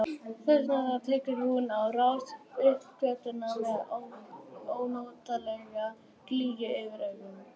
Þess vegna tekur hún á rás upp götuna með ónotalega glýju fyrir augunum.